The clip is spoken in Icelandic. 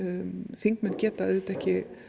þingmenn geta auðvitað ekki